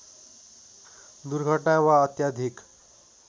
दुर्घटना वा अत्याधिक